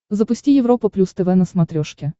запусти европа плюс тв на смотрешке